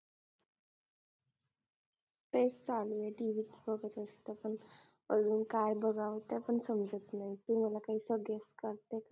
तेच चालुये TV त बघत असतं पण अजून काय बघावं ते पण समजत नाही तुम्हाला काही चालतं का